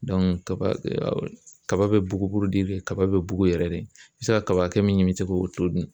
kaba kaba be bugu kaba be bugu yɛrɛ de i bi se ka kaba hakɛ min ɲini se k'o to dun.